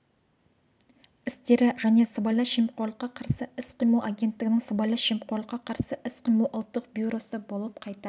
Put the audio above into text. істері және сыбайлас жемқорлыққа қарсы іс-қимыл агенттігінің сыбайлас жемқорлыққа қарсы іс-қимыл ұлттық бюросы болып қайта